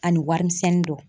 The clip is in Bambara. Ani warimisɛnnin dɔ.